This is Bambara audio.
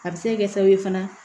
A bɛ se ka kɛ sababu ye fana